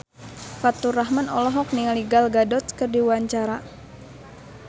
Faturrahman olohok ningali Gal Gadot keur diwawancara